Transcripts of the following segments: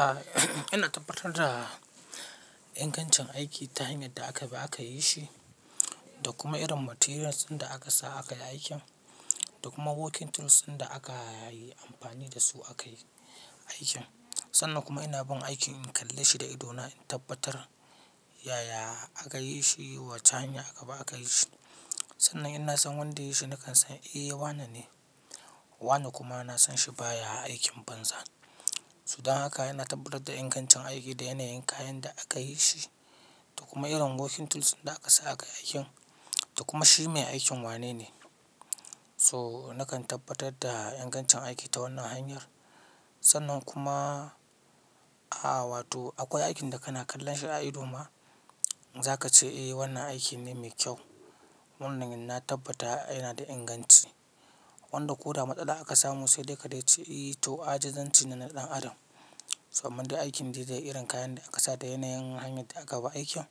Ah ina tabbatar da ingancin aiki ta hanyar da aka ba aka yi shi, da kuma irin materials ɗin da aka sa aka yi aikin, da kuma working tools ɗin da aka yi amfani da su aka yi aikin. Sannan kuma ina bin aikin in kalle shi da ido na in tabbatar yaya aka yi shi wace hanya aka ba aka yi shi. Sannan idan na san wanda ya yi shi nakan san eh wanane. Wane kuma na san shi baya aikin banza. To dan haka ina tabbatar da ingancin aiki da yanayin kayan da aka yi shi, da kuma irin working tools ɗin da aka sa aka yi aikin, da kuma shi mai aikin wanene. So nakan tabbatar da ingancin aiki ta wannan hanyar. Sannan kuma, ah wato akwai aikin da kana kallon shi a ido ma za ka ce eh wannan aiki ne mai kyau. Wannan ina tabbata yana da inganci. Wanda ko da matsala aka samu sai dai kadai ce eh to ajizanci ne na ɗan adam. Saboda da aikin da idan irin kayan da aka sa da yanayin hanyar da aka ba aikin,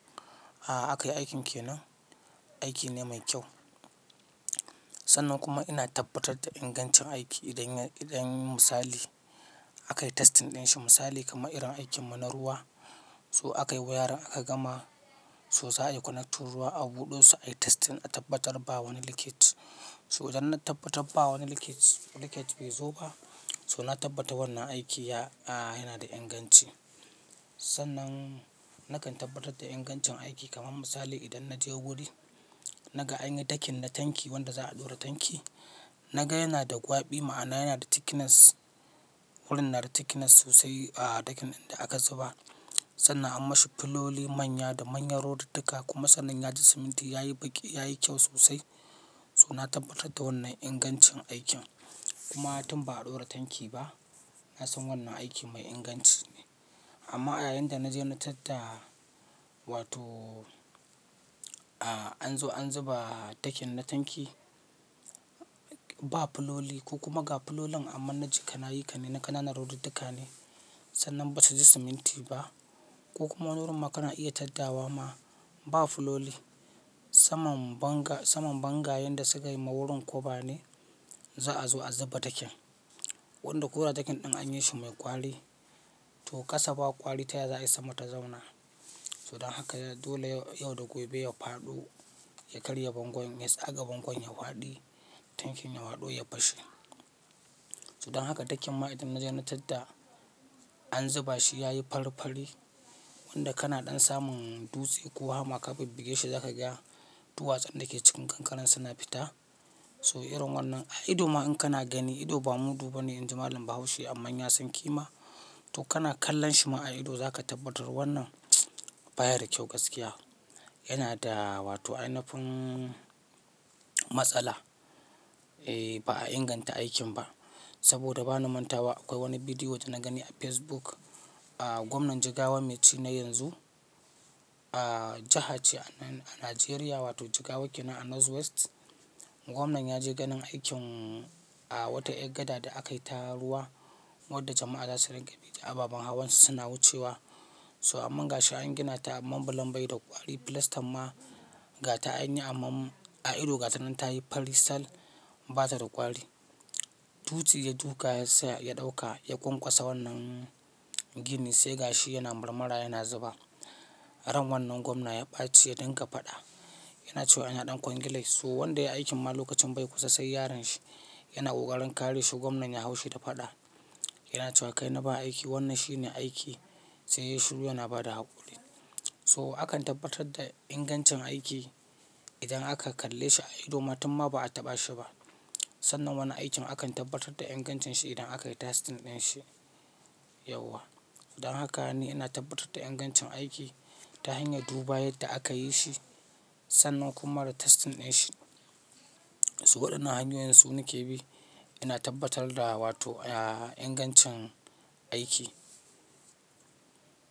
a aka yi aikin ke nan, aiki ne mai kyau. Sannan kuma ina tabbatar da ingancin aiki idan ya, idan misali aka yi testing ɗin shi misali kamar irin aikinmu na ruwa. So aka yi wayarin aka gama so za a yi connection ruwa a buɗe su a yi testing a tabbatar ba wani leakage. To idan na tabbatar ba wani leakage, leakage bai zo ba, so na tabbata wannan aiki ya, a yana da inganci. Sannan nakan tabbatar da ingancin aiki kamar misali idan na je wuri naga anyi takin na tanki wanda za a ɗora tanki, naga yana da ƙwabi ma'ana yana da thickness, wurin yana da thickness sosai a ɗakin da aka zuba. Sannan an mashi fuloli manya da manyan rodidika kuma sannan ya ji siminti yayi baƙi yayi kyau sosai. So na tabbatar da wannan ingancin aikin kuma har tun ba a ɗora tanki ba. Na san wannan aiki mai inganci amma a yayin da naje na tatta wato a an zo an zuba takin na tanki ba fuloli ko kuma ga fulolin amma naji kanayi kane na kananan rodidika ne. Sannan basu ji siminti ba ko kuma wurin ma kana iya taddawa ma ba fuloli. Saman banga, saman bangal da sukansukayi ma wurin koa ne za a zo a zuba takin. Wanda ko da takin ɗin anyi shi mai ƙwari to ƙasa ba ƙwari ta za a isa mata ta zauna. Sudan haka dole yau da gobe ya faɗo ya karye bangon, yes a ga bangon ya faɗi tankin ya faɗo ya fashe. To dan haka takin ma idan na je na tatta an zuba shi yayi farfari wanda kana ɗan samun dutse ko hama ka bibbige shi za ka ga duwatsun da ke cikin kankaren suna fita. So irin wannan a ido ma in kana gani ido ba mudu bane inji Malam Bahaushe amma ya san kima. To kana kallon shi ma a ido za ka tabbatar wannan baya da kyau gaskiya. Yana da wato ainafin matsala eh ba a inganta aikin ba. Saboda ba na manta ba akwai wani bidiyo wanda na gani a Facebook. A gwamnan Jigawa mai ci na yanzu, a jiha ce a Najeriya wato Jigawa ke nan a North West. Gwamnan ya je ganin aikin a wata eggada da aka yi ta ruwa wanda jama'a za su riƙe biki a baban hawansu suna wucewa. So aman gashi an gina ta aman bulon bai da ƙwari filastan ma gata anyi aman a ido gata nan tayi farisal bata da ƙwari. Dutse ya duka sai ya ɗauka ya ƙwaƙwasa wannan gini sai gashi yana marmara yana zuba. Ran wannan gwamna ya ɓaci yace dinka faɗa. Yana cewa yana ɗan kwangilai so wanda ya yi aikin ma lokacin bai kusa sai yaron shi yana ƙoƙarin kare shi gwamnan ya hau shi ta faɗa. Yana cewa kai na ba aiki wannan shi ne aiki sai ya shiru yana bada haƙuri. So akan tabbatar da ingancin aiki idan aka kalle shi a ido ma tun ma ba a taɓa shi ba. Sannan wannan aikin akan tabbatar da ingancin shi idan aka yi testing ɗin shi yauwa. Sudan haka ne ina tabbatar da ingancin aiki ta hanyar duba yadda aka yi shi sannan kuma da testing ɗin shi. So waɗannan hanyoyin su nake bi ina tabbatar da wato a ingancin aiki.